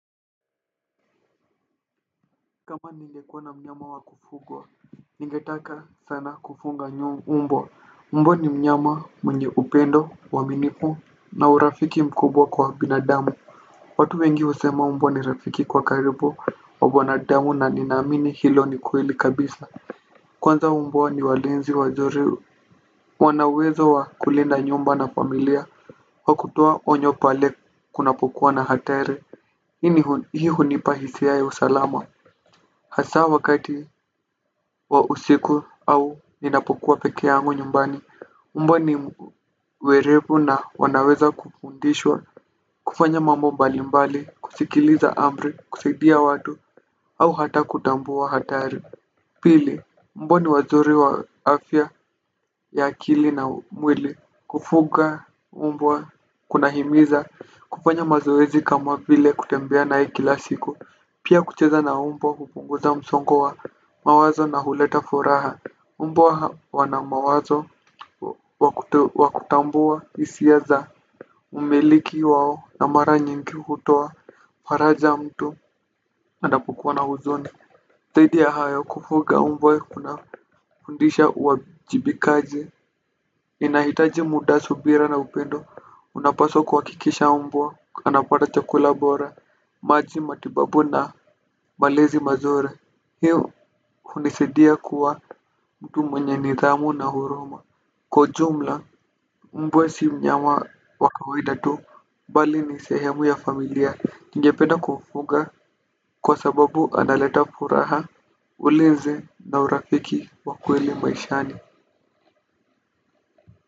Kama ningekuwa na mnyama wa kufugwa ningetaka sana kufuga mbwa ni mnyama mwenye upendo uaminifu na urafiki mkubwa kwa binadamu. Watu wengi husema mbwa ni rafiki kwa karibu wa binadamu na ninaamini hilo ni kweli kabisa. Kwanza mbwa ni walinzi wazuri wana uwezo wa kulinda nyumba na familia wa kutoa onyo pale kunapokuwa na hatari. Hii hunipa hisia ya usalama. Hasa wakati wa usiku au ninapokuwa peke yangu nyumbani. Mbwa ni werevu na wanaweza kupundishwa. Kufanya mambo mbali mbali, kusikiliza amri, kusaidia watu au hata kutambua hatari. Pili, mbwa ni wazuri wa afya ya akili na mwili. Kufuga, mbwa, kunahimiza kufanya mazoezi kama vile kutembea naye kila siku. Pia kucheza na mbwa hupunguza msongo wa mawazo na huleta furaha mbwa wana mawazo wa kutambua hisia za mmiliki wao na mara nyingi hutoa faraja mtu anapikua na huzuni zaidi ya hayo kufuga mbwa kunafundisha uwajibikaji. Inahitaji muda subira na upendo. Unapaswa kuhakikisha mbwa, anapata chakula bora maji matibabu na malezi mazuri. Hii hunisaidia kuwa mtu mwenye nidhamu na huruma. Kwa ujumla mbwa si mnyama wa kawaida tu bali ni sehemu ya familia ningependa kufuga kwa sababu analeta furaha. Ulinzi na urafiki wa kweli maishani.